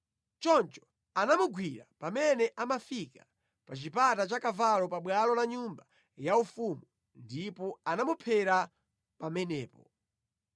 choncho anamugwira pamene amafika pa chipata cha Kavalo pa bwalo la nyumba yaufumu, ndipo anamuphera pamenepo.